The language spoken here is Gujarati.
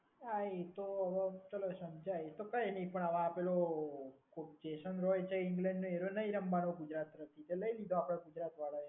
હા એ તો ચલો સમજ્યા એ તો કંઈ નહીં પણ હવે આ પેલું ઓબ્જેક્શન હોય છે ઇંગ્લેન્ડને એવું નહીં રમવાનું ગુજરાતમાં તો લઈ લીધો આપડા ગુજરાત વાળાએ.